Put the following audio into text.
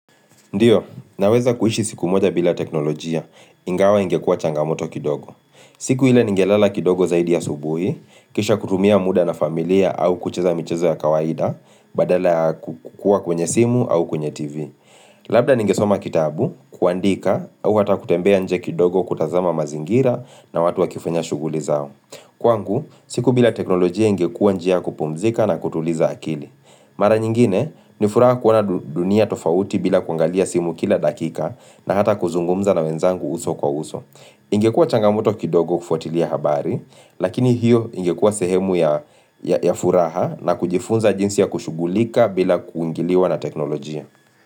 Ndiyo, naweza kuishi siku moja bila teknolojia, ingawa ingekua changamoto kidogo. Siku ile ningelela kidogo zaidi ya asubuhi, kisha kutumia muda na familia au kucheza mcheza ya kawaida, badala ya kukua kwenye simu au kwenye TV. Labda ninge soma kitabu, kuandika, au hata kutembea nje kidogo kutazama mazingira na watu wakifanya shughuli zao. Kwangu, siku bila teknolojia ingekua njia kupumzika na kutuliza akili. Mara nyingine ni furaha kuona dunia tofauti bila kuangalia simu kila dakika na hata kuzungumza na wenzangu uso kwa uso. Ingekua changamoto kidogo kufuatilia habari, lakini hiyo ingekua sehemu ya furaha na kujifunza jinsi ya kushugulika bila kuingiliwa na teknolojia.